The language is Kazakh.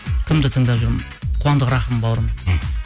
кімді тыңдап жүрмін қуандық рахым бауырымды мхм